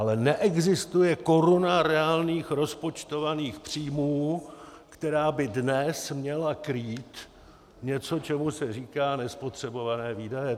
Ale neexistuje koruna reálných rozpočtovaných příjmů, která by dnes měla krýt něco, čemu se říká nespotřebované výdaje.